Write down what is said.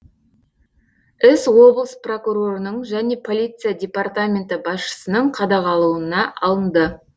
іс облыс прокурорының және полиция департаменті басшысының қадағалауына алынды